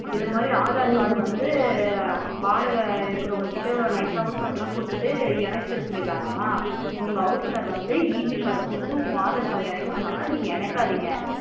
இதுமாதிரி aadhar card வந்து வாடக இருக்குறவங்க கிட்ட nice அஹ் house owner குடுத்து இணைச்சிர சொல்லிறாங்காமா உங்க house owner வந்து EB card குடுத்து உங்க aadhar card ல இணைக்க சொன்னாங்கனா நீங்க எனைகாதிங்க